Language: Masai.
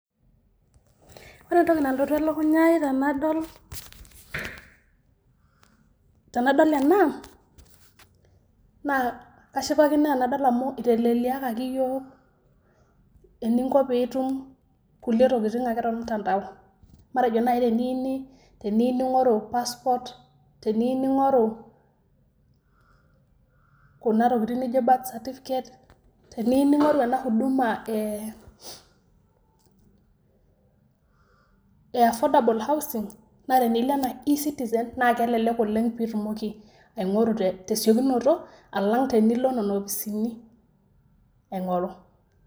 Ore entoki nalotu elukunya ai tenadol , tenadol ena naa ashipakino tenadol amuu itelelekiaki iyiok eninko pitum kulie tokin ake tormutandao. Matejo naji teniyeu ning'oru passport, teniyou ning'oru kuna tokin naijo birth certificate teniyou ning'oru ena huduma ee affordable housing na tenilo enaa eCitizen naa kelelek oleng' pitumoki aing'oru te siokinoto alang' tenilo nena ofisini.